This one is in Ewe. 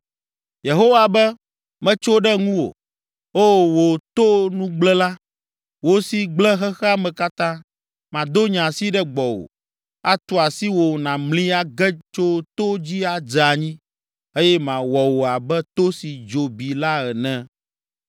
Yehowa be, “Metso ɖe ŋuwò, O, wò to nugblẽla, wò si gblẽ xexea me katã. Mado nye asi ɖe gbɔwò, atu asi wò nàmli age tso to dzi adze anyi eye mawɔ wò abe to si dzo bi la ene.